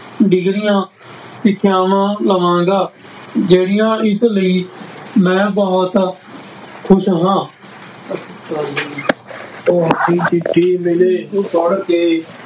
ਡਿਗਰੀਆਂ, ਸਿੱਖਿਆਵਾਂ ਲਵਾਂਗਾ, ਜਿਹੜੀਆਂ ਇਸ ਲਈ ਮੈਂ ਬਹੁਤ ਖ਼ੁਸ਼ ਹਾਂ ਤੁਹਾਡੀ ਚਿੱਠੀ ਮਿਲੀ ਪੜ੍ਹਕੇ